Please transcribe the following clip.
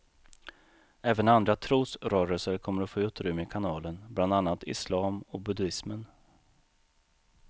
Även andra trosrörelser kommer att få utrymme i kanalen, bland annat islam och buddismen.